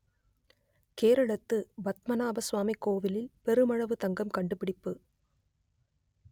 கேரளத்து பத்மநாப சுவாமி கோயிலில் பெருமளவு தங்கம் கண்டுபிடிப்பு